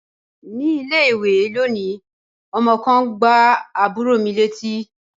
Ní ilé-ìwé lónìí, ọmọ kan gbá àbúrò mi létí.